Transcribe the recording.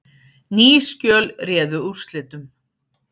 Ný skjöl réðu úrslitum